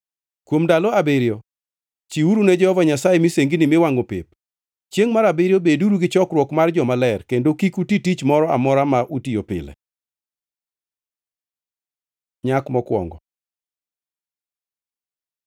Kuom ndalo abiriyo, chiwuru ne Jehova Nyasaye misengini miwangʼo pep. Chiengʼ mar abiriyo beduru gi chokruok mar jomaler, kendo kik uti tich moro amora ma utiyo pile.’ ” Nyak mokwongo